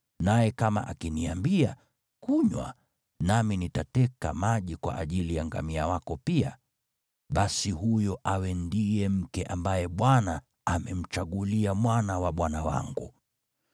naye kama akiniambia, “Kunywa, nami nitateka maji kwa ajili ya ngamia wako pia,” basi huyo awe ndiye mke ambaye Bwana amemchagulia mwana wa bwana wangu.’